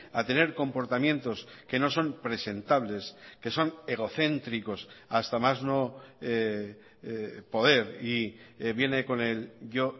a tener comportamientos que no son presentables que son egocéntricos hasta más no poder y viene con el yo